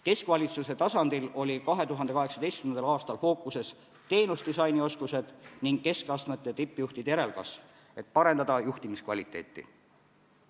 Keskvalitsuse tasandil olid 2018. aastal fookuses teenusekorralduse oskused ning keskastme tippjuhtide järelkasv, et parendada juhtimiskvaliteeti.